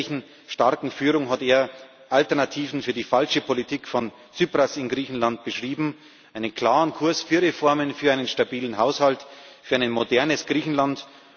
hat. Mit einer ehrlichen, starken Führung hat er Alternativen für die falsche Politik von Tsipras in Griechenland beschrieben, einen klaren Kurs für Reformen, für einen stabilen Haushalt, für ein modernes Griechenland.